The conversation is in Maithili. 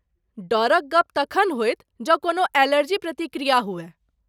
डरक गप्प तखन होयत जँ कोनो एलर्जी प्रतिक्रिया हुअय।